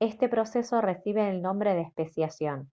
este proceso recibe el nombre de especiación